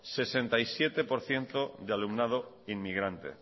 sesenta y siete por ciento de alumnado inmigrante